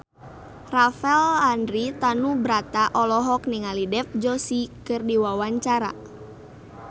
Rafael Landry Tanubrata olohok ningali Dev Joshi keur diwawancara